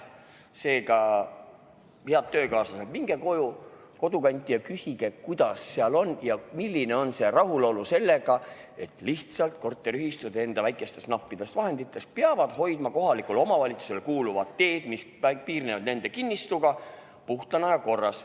Seega, head töökaaslased, minge koju, kodukanti ja küsige, kuidas seal on ja milline on rahulolu sellega, et lihtsalt korteriühistud enda väikestest nappidest vahenditest peavad hoidma ka kohalikule omavalitsusele kuuluvad teed, mis piirnevad nende kinnistuga, puhtana ja korras.